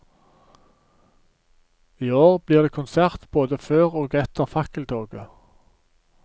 I år blir det konsert både før og etter fakkeltoget.